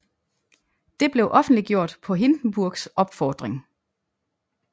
Det blev offentliggjort på Hindenburgs opfordring